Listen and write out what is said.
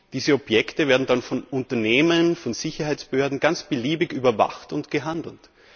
Diese Objekte werden dann von Unternehmen, von Sicherheitsbehörden ganz beliebig überwacht und gehandelt.